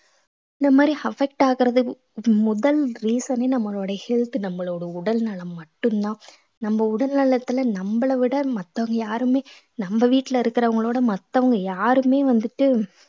இந்த மாதிரி affect ஆகறதுக்கு முதல் reason ஏ நம்மளோட health நம்மளோட உடல்நலம் மட்டும்தான் நம்ம உடல் நலத்துல நம்மள விட மத்தவங்க யாருமே நம்ம வீட்டுல இருக்கிறவங்களோட மத்தவங்க யாருமே வந்துட்டு